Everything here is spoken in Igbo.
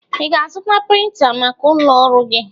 I ga-azụta printa maka ụlọ ọrụ gi?